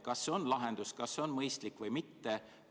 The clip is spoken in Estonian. Kas see on lahendus, kas see on mõistlik või mitte?